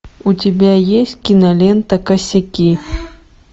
у тебя есть кинолента косяки